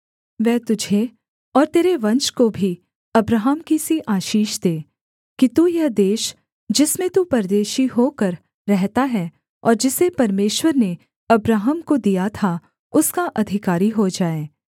वह तुझे और तेरे वंश को भी अब्राहम की सी आशीष दे कि तू यह देश जिसमें तू परदेशी होकर रहता है और जिसे परमेश्वर ने अब्राहम को दिया था उसका अधिकारी हो जाए